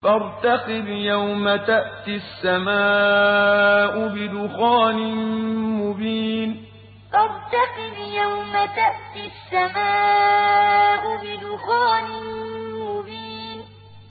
فَارْتَقِبْ يَوْمَ تَأْتِي السَّمَاءُ بِدُخَانٍ مُّبِينٍ فَارْتَقِبْ يَوْمَ تَأْتِي السَّمَاءُ بِدُخَانٍ مُّبِينٍ